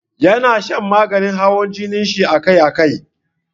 Ya na shan maganin hawan jinin shi akai akai.